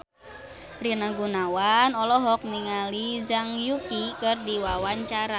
Rina Gunawan olohok ningali Zhang Yuqi keur diwawancara